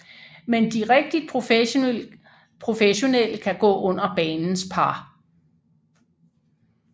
Men de rigtigt professionelle kan gå under banens par